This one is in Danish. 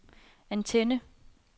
antenne